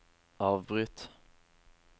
avbryt